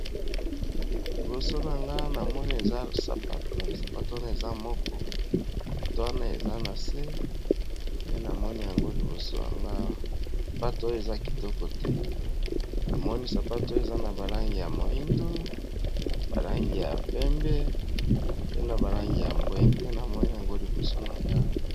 Liboso na nga na moni eza spaosapato. Wana eza moko ato wana eza na se nde na moni yango libosoyangasapato oyo eza kitoko te na moni sapato o eza na balangi ya moindo balangi ya pembe pe na balangi ya bwe nde na moni yango liboso na ngo.